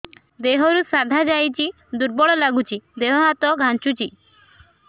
ଦେହରୁ ସାଧା ଯାଉଚି ଦୁର୍ବଳ ଲାଗୁଚି ଦେହ ହାତ ଖାନ୍ଚୁଚି